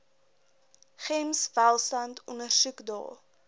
gems welstand ondersoekdae